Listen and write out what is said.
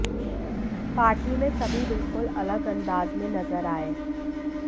party में सभी बिल्कुल अलग अंदाज में नजर आए